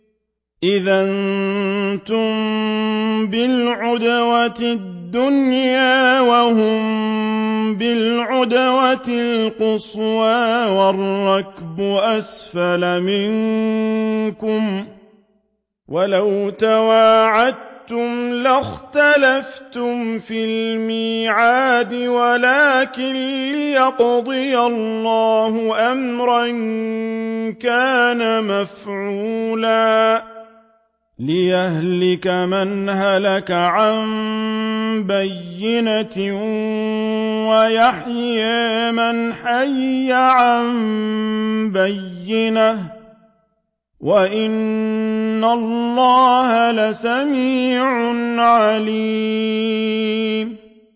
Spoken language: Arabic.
إِذْ أَنتُم بِالْعُدْوَةِ الدُّنْيَا وَهُم بِالْعُدْوَةِ الْقُصْوَىٰ وَالرَّكْبُ أَسْفَلَ مِنكُمْ ۚ وَلَوْ تَوَاعَدتُّمْ لَاخْتَلَفْتُمْ فِي الْمِيعَادِ ۙ وَلَٰكِن لِّيَقْضِيَ اللَّهُ أَمْرًا كَانَ مَفْعُولًا لِّيَهْلِكَ مَنْ هَلَكَ عَن بَيِّنَةٍ وَيَحْيَىٰ مَنْ حَيَّ عَن بَيِّنَةٍ ۗ وَإِنَّ اللَّهَ لَسَمِيعٌ عَلِيمٌ